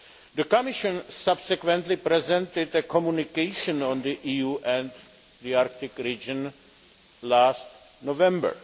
The Commission subsequently presented a communication on the EU and the Arctic region last November.